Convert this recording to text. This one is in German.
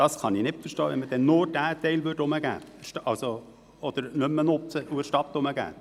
Ich verstünde es nicht, wenn man nur diesen Standort nicht mehr nutzte und der Stadt zurückgäbe.